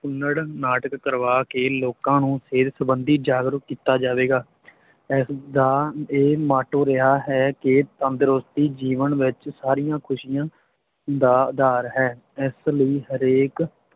ਕੁਨੜ ਨਾਟਕ ਕਰਵਾ ਕੇ ਲੋਕਾਂ ਨੂੰ ਸਿਹਤ ਸਬੰਧੀ ਜਾਗਰੂਕ ਕੀਤਾ ਜਾਵੇਗਾ ਇਸਦਾ ਇਹ ਮਾਟੋ ਰਿਹਾ ਹੈ ਕਿ ਤੰਦਰੁਸਤੀ ਜੀਵਨ ਵਿੱਚ ਸਾਰੀਆਂ ਖੁਸ਼ੀਆਂ ਦਾ ਆਧਾਰ ਹੈ ਇਸ ਲਈ ਹਰੇਕ